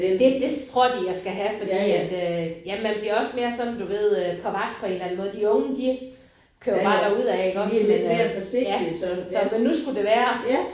Det det tror de jeg skal have fordi at øh ja man bliver også sådan mere du ved øh på vagt på en eller anden måde de unge de kører jo bare derud af iggås men øh ja. Så men nu skulle det være